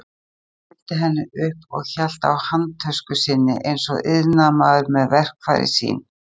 Presturinn fylgdi henni upp og hélt á handtösku sinni eins og iðnaðarmaður með verkfærin sín.